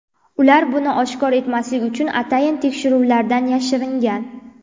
Ular buni oshkor etmaslik uchun atayin tekshiruvlardan yashiringan.